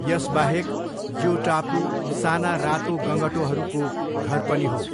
यसबाहेक, यो टापु साना रातो गँगटोहरूको घर पनि हो।